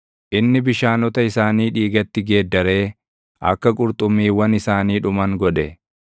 Inni bishaanota isaanii dhiigatti geeddaree akka qurxummiiwwan isaanii dhuman godhe.